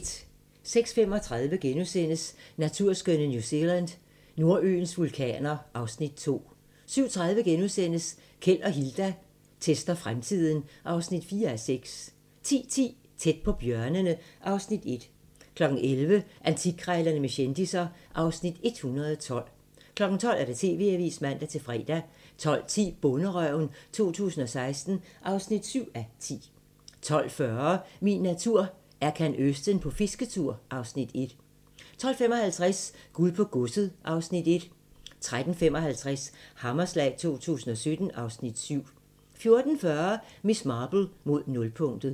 06:35: Naturskønne New Zealand: Nordøens vulkaner (Afs. 2)* 07:30: Keld og Hilda tester fremtiden (4:6)* 10:10: Tæt på bjørnene (Afs. 1) 11:00: Antikkrejlerne med kendisser (Afs. 112) 12:00: TV-avisen (man-fre) 12:10: Bonderøven 2016 (7:10) 12:40: Min natur – Erkan Özden på fisketur (Afs. 1) 12:55: Guld på godset (Afs. 1) 13:55: Hammerslag 2017 (Afs. 7) 14:40: Miss Marple: Mod nulpunktet